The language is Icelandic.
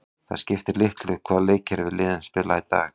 Það skiptir litlu hvaða leikkerfi liðin spila í dag.